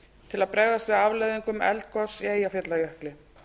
til að bregðast við afleiðingum eldgoss í eyjafjallajökli